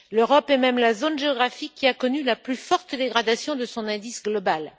L'Europe est même la zone géographique qui a connu la plus forte dégradation de son indice global.